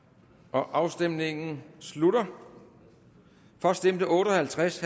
afstemningen slutter for stemte otte og halvtreds